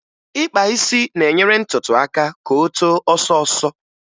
Ịkpa isi na-enyere ntutu aka ka o too ọsọọsọ